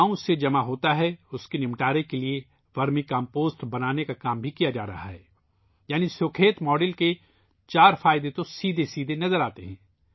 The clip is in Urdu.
گاؤں سے جمع ہونے والے کچرے کو ٹھکانے لگانے کے لیے ورمی کمپوسٹ بنانے کا کام بھی کیا جا رہا ہے یعنی سکھیت ماڈل کے چار فوائد براہ راست نظر آتے ہیں